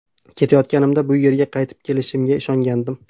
Ketayotganimda bu yerga qaytib kelishimga ishongandim.